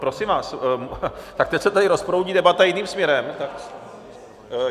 Prosím vás, tak teď se tady rozproudí debata jiným směrem.